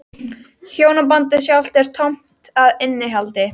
Hjónabandið sjálft er tómt að innihaldi.